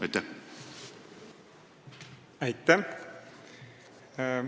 Aitäh!